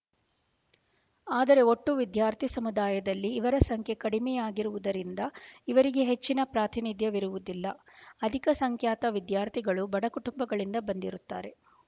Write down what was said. ಆದರೆ ಒಟ್ಟು ವಿದ್ಯಾರ್ಥಿ ಸಮುದಾಯದಲ್ಲಿ ಇವರ ಸಂಖ್ಯೆ ಕಡಿಮೆಯಾಗಿರುವುದರಿಂದ ಇವರಿಗೆ ಹೆಚ್ಚಿನ ಪ್ರಾತಿನಿಧ್ಯವಿರುವುದಿಲ್ಲ ಅಧಿಕ ಸಂಖ್ಯಾತ ವಿದ್ಯಾರ್ಥಿಗಳು ಬಡಕುಟುಂಬಗಳಿಂದ ಬಂದಿರುತ್ತಾರೆ